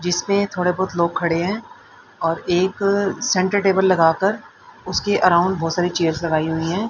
जिसपे थोड़े बहुत लोग खड़े हैं और एक सेंटर टेबल लगाकर उसके अराउंड बहोत सारी चेयर्स लगाई हुई है।